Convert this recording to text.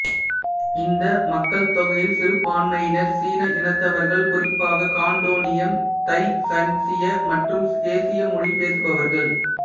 இந்த மக்கள்தொகையில் சிறுபான்மையினர் சீன இனத்தவர்கள் குறிப்பாக கான்டோனீயம் தைசனீச்ய மற்றும் கேசிய மொழி பேசுபவர்கள்